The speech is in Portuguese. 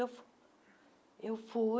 Eu fui eu fui.